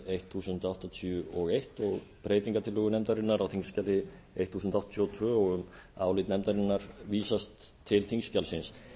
þúsund og áttatíu og eins og breytingartillögu nefndarinnar á þingskjali þúsund og áttatíu og tvö og um álit nefndarinnar vísast til þingskjalsins